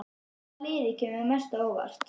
Hvaða lið kemur mest á óvart?